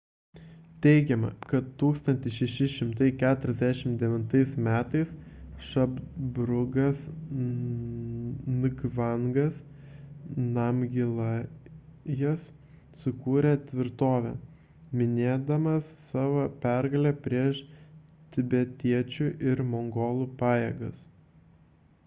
teigiama kad 1649 m šabdrungas ngavangas namgijalas sukūrė tvirtovę minėdamas savo pergalę prieš tibetiečių ir mongolų pajėgas